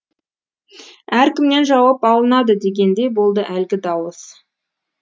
әркімнен жауап алынады дегендей болды әлгі дауыс